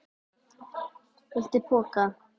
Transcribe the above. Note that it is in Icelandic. Viltu poka?